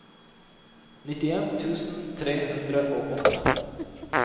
nittien tusen tre hundre og åtte